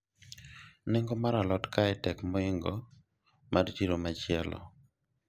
nengo mar alot kae tek mohingo mar siro machielo